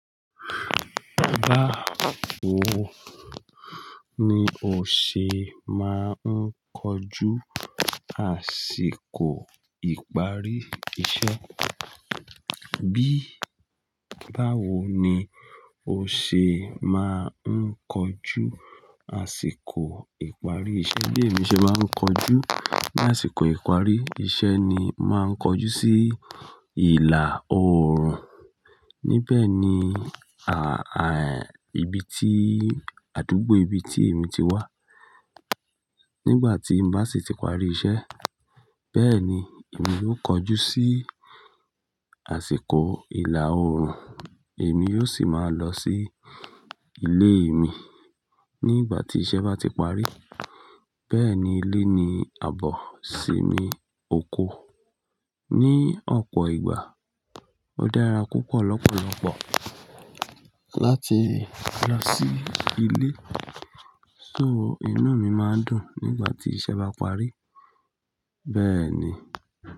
Báwo ni o ṣe máa ń kojú àsìkò ìparí iṣẹ́? Bí báwo ni o ṣe máa ń kojú àsìkò ìparí iṣẹ́? Bí èmi ṣe máa ń kojú ní àsìkò ìparí iṣẹ́ ni màá kojú sí ìlà oòrùn. Ní bẹ́ẹ̀ ni, à, à, ibi tí, àdúgbò ibi tí èmi ti wà. Nígbà tín bá sì ti parí iṣẹ́, bẹ́ẹ̀ ni èmi yóò kojú sí àsìkò ìlà oòrùn. Èmi yóò sì máa lọ sí ilé mi nígbà tí iṣẹ́ bá ti parí. Bẹ́ẹ̀ ni, ilé ni àbọ̀ sì mi oko. Ní ọ̀pọ̀ ìgbà ó dára púpọ̀ lọ́pọ̀lọpọ̀ láti lọ sí ilé. So inú mi máa dùn nígbà tí iṣẹ́ bá parí. Bẹ́ẹ̀ ni.